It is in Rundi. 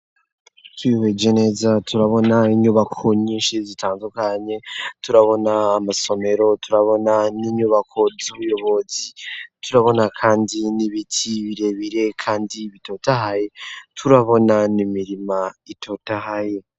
Twiheje neza turabona inyubako nyinshi zitandukanye turabona amasomero turabona n'inyubako z'ubuyobozi, turabona kandi n'ibiti birebire kandi bitotahaye, turabona n’imirima itotahaye.